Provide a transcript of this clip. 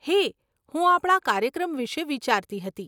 હે, હું આપણા કાર્યક્રમ વિષે વિચારતી હતી.